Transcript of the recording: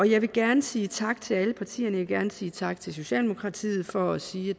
jeg vil gerne sige tak til alle partierne jeg vil gerne sige tak til socialdemokratiet for at sige